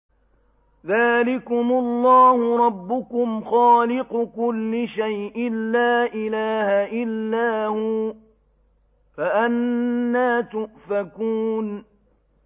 ذَٰلِكُمُ اللَّهُ رَبُّكُمْ خَالِقُ كُلِّ شَيْءٍ لَّا إِلَٰهَ إِلَّا هُوَ ۖ فَأَنَّىٰ تُؤْفَكُونَ